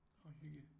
Nå hygge